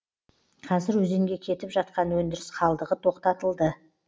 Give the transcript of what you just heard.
қазір өзенге кетіп жатқан өндіріс қалдығы тоқтатылды